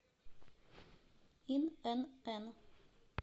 инн